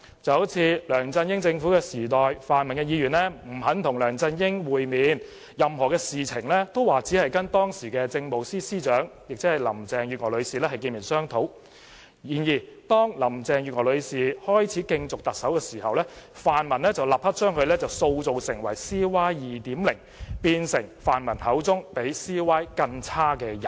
舉例而言，在梁振英政府時代，泛民議員不肯與梁振英會面，說任何事情也只會跟當時的政務司司長，即林鄭月娥女士見面商討，但當林鄭月娥女士開始競逐特首時，泛民議員便立刻把她塑造成 "CY 2.0"， 變成他們口中比 CY 更差的人。